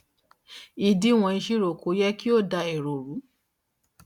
ìdíwọn ìṣirò kò yẹ kí ó dá èrò ru